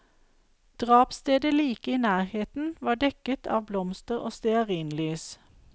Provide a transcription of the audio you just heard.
Drapsstedet like i nærheten var dekket av blomster og stearinlys.